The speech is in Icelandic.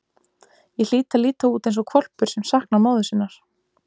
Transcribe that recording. Ég hlýt að líta út eins og hvolpur sem saknar móður sinnar.